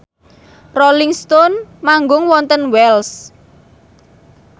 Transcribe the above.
Rolling Stone manggung wonten Wells